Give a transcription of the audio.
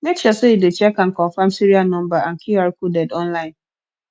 make sure sey you dey check and confirm serial number and qr coded online